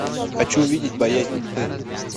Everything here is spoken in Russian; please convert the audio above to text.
хочу увидеть боязнь тьмы